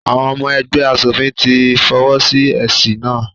Àwọn ọmọ ẹgbẹ́ aṣòfin ti fọwọ́ sí èsì náà.